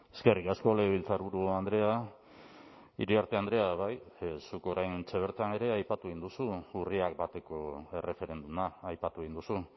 eskerrik asko legebiltzarburu andrea iriarte andrea bai zuk oraintxe bertan ere aipatu egin duzu urriak bateko erreferenduma aipatu egin duzu